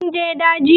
Kun je daji?